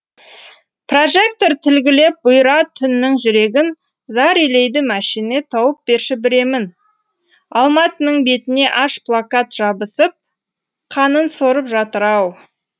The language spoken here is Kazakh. прожектор тілгілеп бұйра түннің жүрегін зар илейді мәшине тауып берші бір емін алматының бетіне аш плакат жабысып қанын сорып жатыр ау